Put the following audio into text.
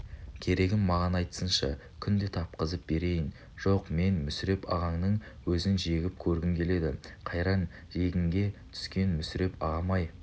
керегін маған айтсыншы күнде тапқызып берейін жоқ мен мүсіреп ағаңның өзін жегіп көргім келеді қайран жегінге түскен мүсіреп ағам-ай